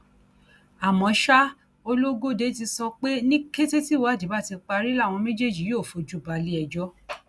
àmọ ṣá ológóde ti sọ pé ní kété tíwádìí bá ti parí làwọn méjèèjì yóò fojú balẹẹjọ